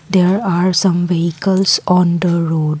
there are some vehicles on the road.